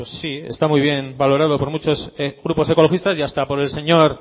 pues sí está muy bien valorado por muchos grupos ecologistas y hasta por el señor